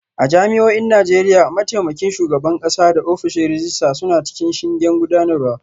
A jami'o'in Najeriya, mataimakin shugaban kasa da ofishin rejista suna cikin shingen gudanarwa